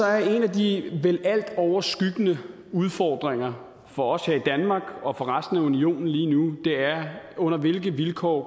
er en af de vel altoverskyggende udfordringer for os her i danmark og for resten af unionen lige nu under hvilke vilkår